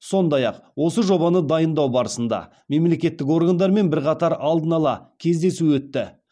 сондай ақ осы жобаны дайындау барысында мемлекеттік органдармен бірқатар алдын ала кездесу өтті